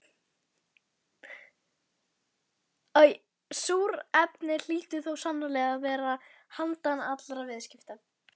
Súrefni hlýtur þó sannarlega að vera handan allra viðskipta.